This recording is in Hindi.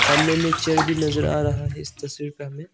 सामने मे चेयर भी नजर आ रहा है इस तस्वीर में हमें--